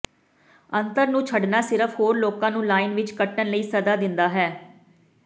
ਅੰਤਰ ਨੂੰ ਛੱਡਣਾ ਸਿਰਫ਼ ਹੋਰ ਲੋਕਾਂ ਨੂੰ ਲਾਈਨ ਵਿੱਚ ਕੱਟਣ ਲਈ ਸੱਦਾ ਦਿੰਦਾ ਹੈ